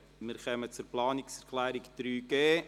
Wir kommen zu Planungserklärung 3.g.